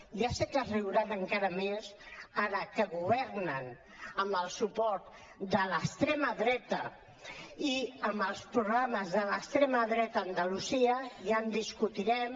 ja sé que se’n riuran encara més ara que governen amb el suport de l’extrema dreta i amb els programes de l’extrema dreta a andalusia ja ho discutirem